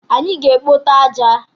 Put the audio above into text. Anyị ga-ekpote aja.